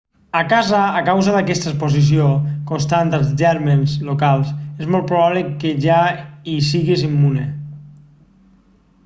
a casa a causa d'aquesta exposició constant als gèrmens locals és molt probable que ja hi siguis immune